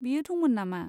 बियो दंमोन नामा?